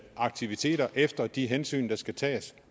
aktiviteter efter de hensyn der skal tages